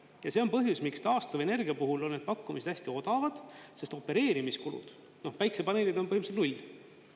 Ja see on põhjus, miks taastuvenergia puhul on need pakkumised hästi odavad, sest opereerimiskulud päikesepaneelidel on null.